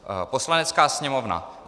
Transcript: Poslanecká sněmovna